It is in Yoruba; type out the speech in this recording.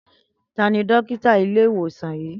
Tani Dókítà ile iwosan yii?